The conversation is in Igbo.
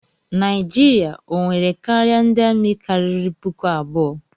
Naijiria o nwere karịa ndị amị karịrị puku abụọ?